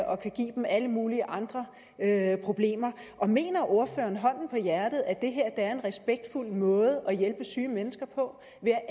og kan give dem alle mulige andre problemer mener ordføreren hånden på hjertet at det her er en respektfuld måde at hjælpe syge mennesker på